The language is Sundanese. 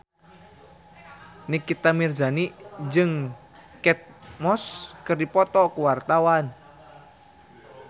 Nikita Mirzani jeung Kate Moss keur dipoto ku wartawan